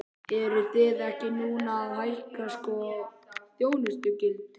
Eruð þið ekki núna að hækka sko þjónustugjöldin?